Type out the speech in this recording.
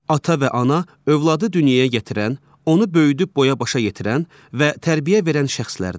Ata və ana övladı dünyaya gətirən, onu böyüdüb boya-başa yetirən və tərbiyə verən şəxslərdir.